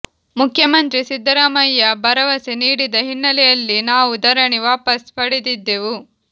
ಮುಖ್ಯಮಂತ್ರಿ ಸಿದ್ದರಾಮಯ್ಯ ಭರವಸೆ ನೀಡಿದ ಹಿನ್ನೆಲೆಯಲ್ಲಿ ನಾವು ಧರಣಿ ವಾಪಸ್ ಪಡೆದಿದ್ದೆವು